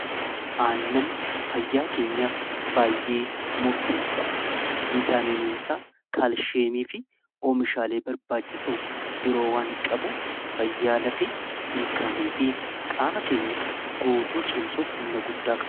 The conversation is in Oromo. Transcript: annan fayyaa keenyaaf baay'ee murteessaadha viitaaminisaa kaalsheemii fi oomishaalee barbaachisu biroo waan qabuuf fayyaalafi ilkaanii fi qaama keenya guutuu cimsuuf humna guddaa qaba.